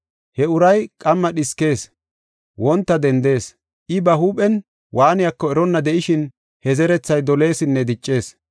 He uray qamma dhiskees; wonta dendees. I ba huuphen waaniyako eronna de7ishin he zerethay doleesinne diccees.